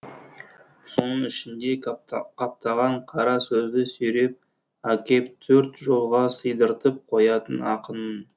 соның ішінде қаптаған қара сөзді сүйреп әкеп төрт жолға сыйдыртып қоятын ақынмын